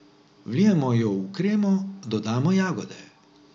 Vlijemo jo v kremo, dodamo jagode.